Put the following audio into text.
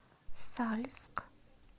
сальск